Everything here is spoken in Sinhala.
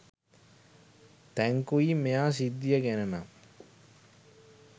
තැංකුයි මෙයා සිද්දිය ගැන නම්